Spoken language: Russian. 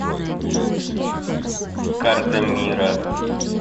карта мира